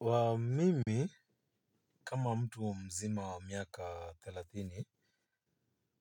Waomimi kama mtu mzima wa miaka thelathini.